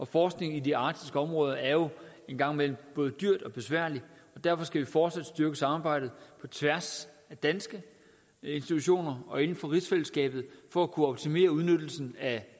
forskning i de arktiske områder er jo en gang imellem både dyrt og besværligt og derfor skal vi fortsat styrke samarbejdet på tværs af danske institutioner og inden for rigsfællesskabet for at kunne optimere udnyttelsen af